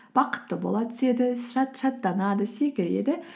бақытты бола түседі шаттанады секіреді